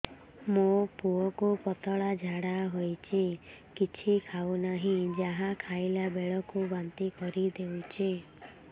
ମୋ ପୁଅ କୁ ପତଳା ଝାଡ଼ା ହେଉଛି କିଛି ଖାଉ ନାହିଁ ଯାହା ଖାଇଲାବେଳକୁ ବାନ୍ତି କରି ଦେଉଛି